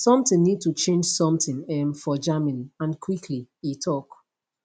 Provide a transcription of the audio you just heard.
something need to change something um for germany and quickly e tok